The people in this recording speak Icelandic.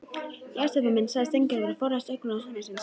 Já, Stebbi minn sagði Steingerður og forðaðist augnaráð sonar síns.